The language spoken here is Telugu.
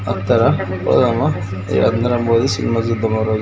అత్తర పోదామా ఇగ అందరం పోయి సినిమా చుద్దామా.